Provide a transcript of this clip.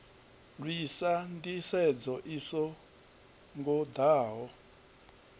lwisa nḓisedzo i so ngoḓaho